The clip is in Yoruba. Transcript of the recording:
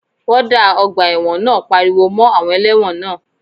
Wọ́ọ́dà ọgbà ẹ̀wọ̀n náà pariwo mọ́ àwọn ẹlẹ́wọ̀n náà